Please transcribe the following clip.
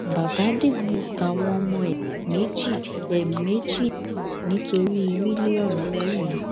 bàbá dìgbù àwọn ọmọ ẹ méjì ẹ méjì nítorí mílíọnù mẹrin